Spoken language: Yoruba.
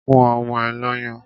Fún ọmọ ẹ lọ́yàn!